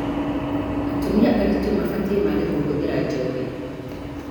Atumia aritũ mabatie maage kũhũthira njohi